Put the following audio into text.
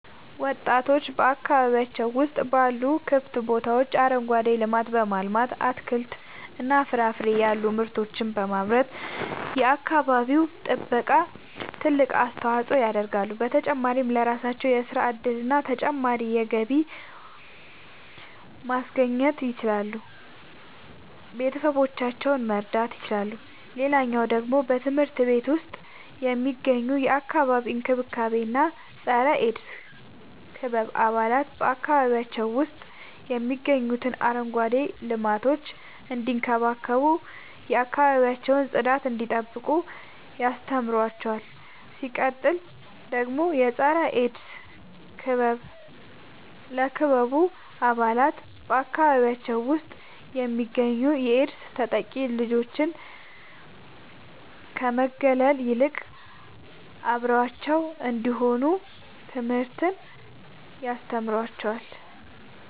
ወጣቶች በአካባቢያቸው ውስጥ ባሉ ክፍት ቦታዎች አረንጓዴ ልማትን በማልማት አትክልትና ፍራፍሬ ያሉ ምርቶችን በማምረት የአካባቢው ጥበቃ ትልቅ አስተዋጽኦ ያደርጋሉ። በተጨማሪም ለራሳቸው የሥራ እድልና ተጨማሪ ገቢ ማስገኘት ይችላሉ ቤተሰቦቻቸውን መርዳት ይችላሉ። ሌላኛው ደግሞ በትምህርት ቤት ውስጥ የሚገኙ የአካባቢ እንክብካቤ እና የፀረ -ኤድስ ክበብ አባላት በአካባቢያቸው ውስጥ የሚገኙትን አረንጓዴ ልማቶች እንዲንከባከቡ የአካባቢያቸውን ጽዳት እንዲጠብቁ ያስተምሯቸዋል። ሲቀጥል ደግሞ የፀረ-ኤድስ ክበብ ለክበቡ አባላት በአካባቢያቸው ውስጥ የሚገኙ የኤድስ ተጠቂ ልጆችን ከመግለል ይልቅ አብረዋቸው እንዲሆኑ ትምህርትን ያስተምራቸዋል።